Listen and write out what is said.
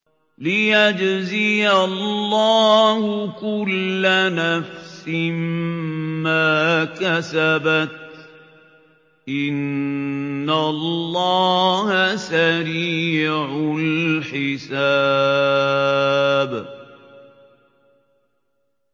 لِيَجْزِيَ اللَّهُ كُلَّ نَفْسٍ مَّا كَسَبَتْ ۚ إِنَّ اللَّهَ سَرِيعُ الْحِسَابِ